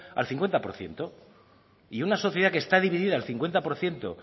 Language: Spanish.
al cincuenta por ciento y una sociedad que está dividida al cincuenta por ciento